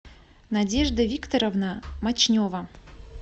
надежда викторовна мочнева